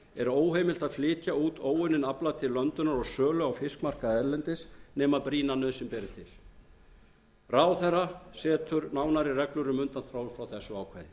er óheimilt að flytja út óunninn afla til löndunar og sölu á fiskmarkaði erlendis nema brýna nauðsyn beri til ráðherra setur nánari reglur um undanþágu frá þessu